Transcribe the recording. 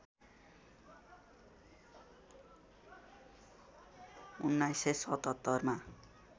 १९७७ मा